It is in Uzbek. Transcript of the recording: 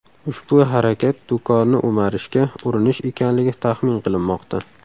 Ushbu harakat do‘konni o‘marishga urinish ekanligi taxmin qilinmoqda.